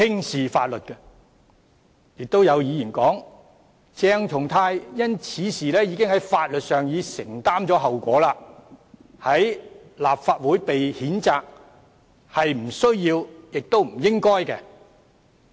此外，有議員表示鄭松泰已因此事承擔了法律後果，立法會的譴責是不需要和不應該的。